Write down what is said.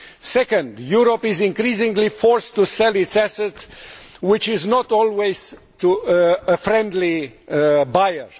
Second, Europe is increasingly forced to sell its assets, and not always to a friendly buyer.